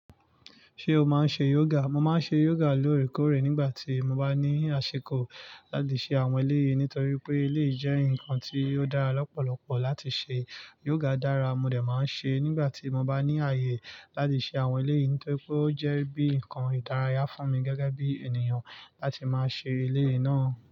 Ṣé o máa ń ṣe yoga? Mo máa ń ṣe yoga lóòrèkóòrè nígbà tí mo bá ní àṣiko láti ṣe àwọn eleyi nítorí pé eleyi je nǹkan tí ó dára lọ́pọ̀lọpọ̀ láti ṣe. Yoga dára, mo dẹ̀ máa ń ṣe nígbà tí mo bá ní àyè láti ṣe àwọn ilé yìí, nítorí pé ó jẹ́ bí nǹkan ìdárayá fún mi gẹ́gẹ́ bí ènìyàn láti máa ṣe eleyináà.